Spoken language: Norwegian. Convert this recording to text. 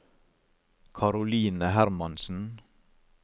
Caroline Hermansen